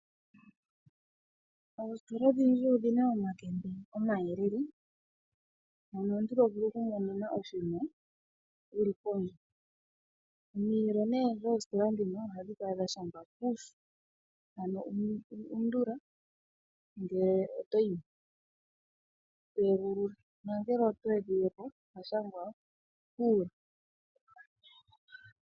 Oositola odhindji odhi na omakende omayelele mono omuntu to vulu okumonene oshinima wu li pondje. Omiyelo dhoositla ndhino ohadhi kala dha shangwa 'undula" ngele oto yi moc, to egulula nongele oto edhile po odha shangwa "nana".